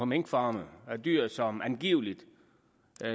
minkfarme af dyr som angiveligt